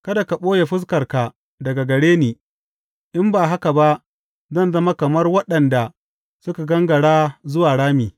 Kada ka ɓoye fuskarka daga gare ni in ba haka ba zan zama kamar waɗanda suka gangara zuwa rami.